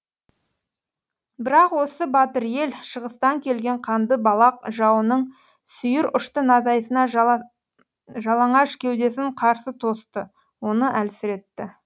бірақ осы батыр ел шығыстан келген қанды балақ жауының сүйір ұшты найзасына жалаңаш кеудесін қарсы тосты оны әлсіретті